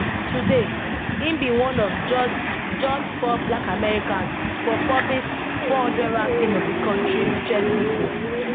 today im be one of just just four black americans for forbes 400 ranking of di kontri richest pipo